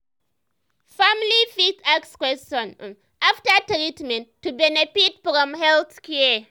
family fit ask question um after treatment to benefit from health care.